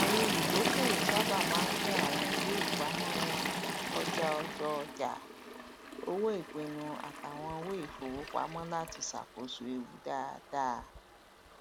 àwọn olùdókòwò sábà máa ń pín àwọn ìwéipamọ wọn kọjá ọjàọjà owóìpinnu àti àwọn ìwé ìfowopamọ láti ṣàkóso ewu dáadáa